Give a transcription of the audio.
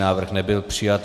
Návrh nebyl přijat.